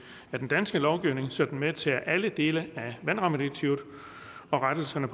af den danske lovgivning så den medtager alle dele af vandrammedirektivet og rettelserne